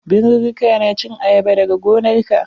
Birurruka na cin ayaba dag gonarka.